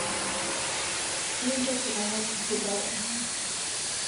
Mintoki amej sukari